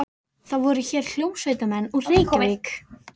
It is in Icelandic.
Það voru hér hljómsveitarmenn úr Reykjavík.